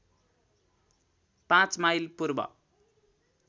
५ mile पूर्व